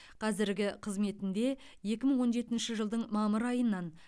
қазіргі қызметінде екі мың он жетінші жылдың мамыр айынан